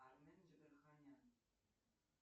армен джигарханян